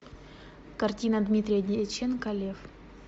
картина дмитрия дьяченко лев